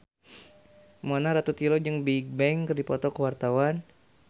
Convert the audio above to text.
Mona Ratuliu jeung Bigbang keur dipoto ku wartawan